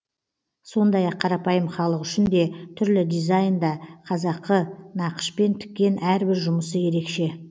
сондай ақ қарапайым халық үшін де түрлі дизайнда қазақы нақышпен тіккен әрбір жұмысы ерекше